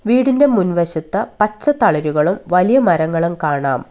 വീടിന്റെ മുൻവശത്ത് പച്ച തളിരുകളും വലിയ മരങ്ങളും കാണാം.